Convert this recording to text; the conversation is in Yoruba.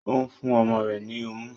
Ó ń fún ọmọ rẹ̀ ní ọmú.